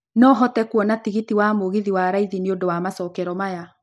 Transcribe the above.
no hote kũona tigiti wa mũgithi wa raithĩ nĩ undũ wa macokero maya